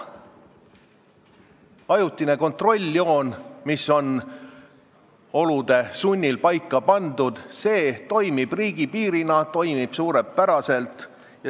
Ajutine kontrolljoon, mis on olude sunnil paika pandud, toimib riigipiirina, see toimib suurepäraselt.